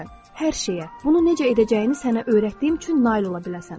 Hər şeyə, bunu necə edəcəyini sənə öyrətdiyim üçün nail ola biləsən.